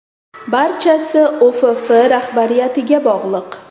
Barchasi O‘FF rahbariyatiga bog‘liq.